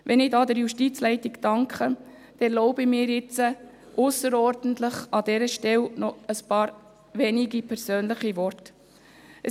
Wenn ich der Justizleitung danke, erlaube ich mir, an dieser Stelle zusätzlich ein paar persönliche Worte zu äussern.